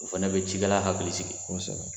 O fana bɛ cikɛla hakili sigi